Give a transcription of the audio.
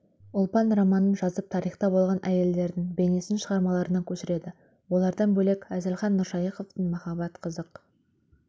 ұлпан романын жазып тарихта болған әйелдердің бейнесін шығармаларына көшіреді олардан бөлек әзілхан нұршайықовтың махаббат қызық